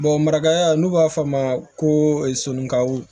marakaya n'u b'a fɔ a ma ko sonnikaw